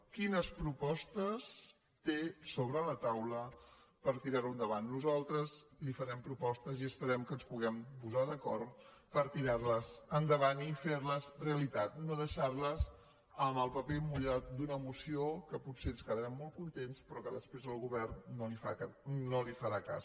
quines propostes té sobre la taula per tirar ho endavant nosal tres li farem propostes i esperem que ens puguem posar d’acord per tirar les endavant i ferles realitat no deixar les en el paper mullat d’una moció que potser en quedarem molt contents però que després el govern no li farà cas